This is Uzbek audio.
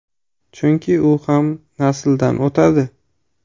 Chunki u ham nasldan o‘tadi.